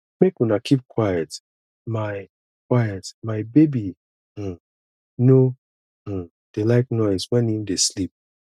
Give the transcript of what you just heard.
make una keep quiet my quiet my baby um no um dey like noise wen im dey sleep